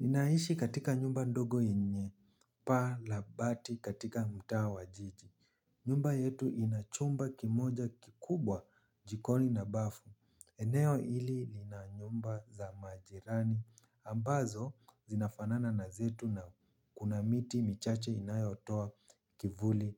Ninaishi katika nyumba ndogo yenye pa la bati katika mtawa wa jiji. Nyumba yetu inachumba kimoja kikubwa jikoni na bafu. Eneo ili lina nyumba za majirani ambazo zinafanana na zetu na kuna miti michache inayotoa kivuli.